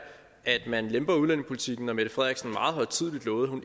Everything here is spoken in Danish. at man vil lempe udlændingepolitikken når mette frederiksen meget højtideligt lovede under